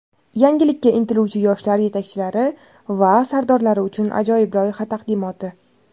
Yangilikka intiluvchi yoshlar yetakchilari va sardorlar uchun ajoyib loyiha taqdimoti.